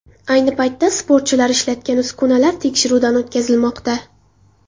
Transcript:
Ayni paytda sportchilar ishlatgan uskunalar tekshiruvdan o‘tkazilmoqda.